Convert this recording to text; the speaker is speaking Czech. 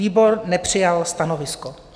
Výbor nepřijal stanovisko.